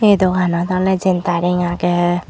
a dokanot ola jentaring agey.